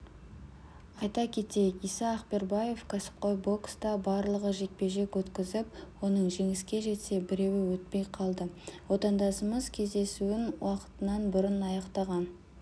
айта кетейік иса ақбербаев кәсіпқой бокста барлығы жекпе-жек өткізіп оның жеңіске жетсе біреуі өтпей қалды отандасымыз кездесуін уақытынан бұрын аяқтаған